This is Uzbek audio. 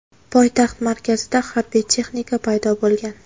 Poytaxt markazida harbiy texnika paydo bo‘lgan.